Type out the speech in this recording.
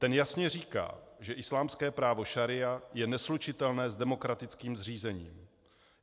Ten jasně říká, že islámské právo šaría je neslučitelné s demokratickým zřízením.